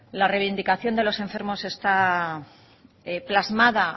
la reivindicación de los enfermos está plasmada